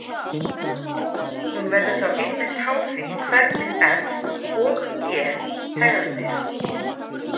Hún verður þá einmitt háð því hvernig f og g hegða sér.